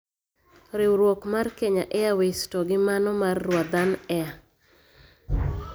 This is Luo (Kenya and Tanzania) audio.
Riwruok mar Kenya Airways to gi mano mar Rwandan Air